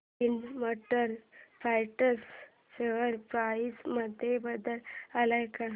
Ind motor parts share price मध्ये बदल आलाय का